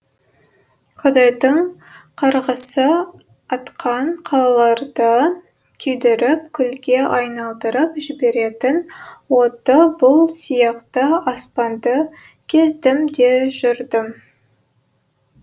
құдайдың қарғысы атқан қалаларды күйдіріп күлге айналдырып жіберетін отты бұлт сияқты аспанды кездім де жүрдім